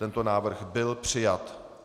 Tento návrh byl přijat.